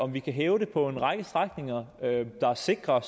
om vi kan hæve den på en række strækninger der er sikre